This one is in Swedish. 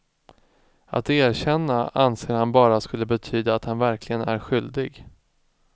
Att erkänna anser han bara skulle betyda att han verkligen är skyldig.